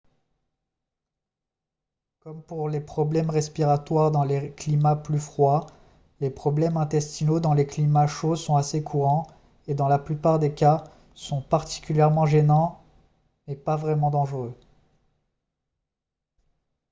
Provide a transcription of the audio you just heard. comme pour les problèmes respiratoires dans les climats plus froids les problèmes intestinaux dans les climats chauds sont assez courants et dans la plupart des cas sont particulièrement gênants mais pas vraiment dangereux